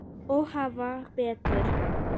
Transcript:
Og hafa betur.